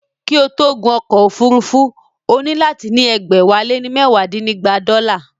Kí o tó gun ọkọ̀ òfúrufú, o nílò láti ní ẹgbẹ̀wálénímẹwadínígba dọ́là